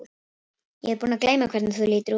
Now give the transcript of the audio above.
Heimild: Hagstofan.